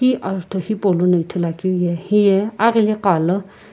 hi azutho hipou lono ithulu akeu ye aghili ghalo.